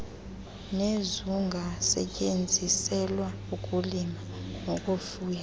nezungasetyenziselwa ukulima nokufuya